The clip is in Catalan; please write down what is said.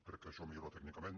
crec que això millora tècnicament